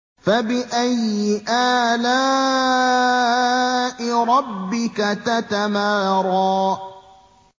فَبِأَيِّ آلَاءِ رَبِّكَ تَتَمَارَىٰ